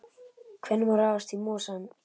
Hvenær má ráðast í mosann?